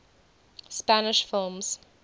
spanish films